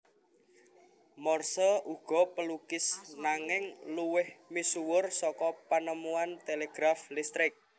Morse uga pelukis nanging luwih misuwur saka penemuan telegraf listrik